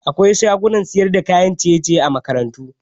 Akwai shagunan sayar da kayan ciye-ciye a makarantu